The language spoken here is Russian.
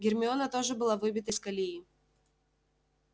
гермиона тоже была выбита из колеи